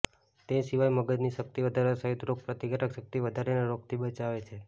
તે સિવાય મગજની શક્તિ વઘારવા સહિત રોગ પ્રતિકારક શક્તિ વધારીને રોગથી બચાવે છે